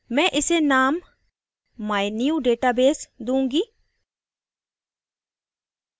मैं इसे name mynewdatabase दूँगी